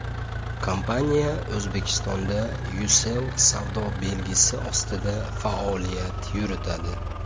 Kompaniya O‘zbekistonda Ucell savdo belgisi ostida faoliyat yuritadi.